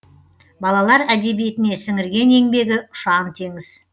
балалар әдебиетіне сіңірген еңбегі ұшан теңіз